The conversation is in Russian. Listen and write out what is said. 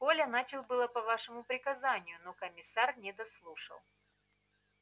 коля начал было по вашему приказанию но комиссар не дослушал